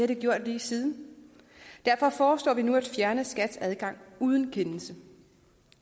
det gjort lige siden derfor foreslår vi nu at fjerne skats adgang uden kendelse